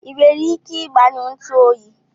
i nwere ike igbanyụ ntu oyi?